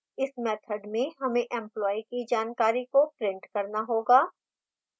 इस मैथड में हमें employee की जानकारी को print करना होगा